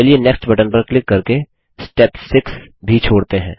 चलिए next button पर click करके स्टेप 6 भी छोड़ते हैं